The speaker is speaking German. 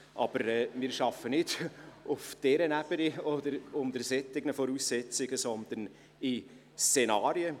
Aber wir arbeiten nicht auf dieser Ebene oder unter solchen Voraussetzungen, sondern in Szenarien.